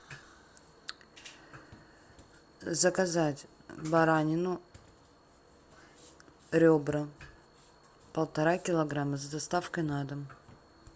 заказать баранину ребра полтора килограмма с доставкой на дом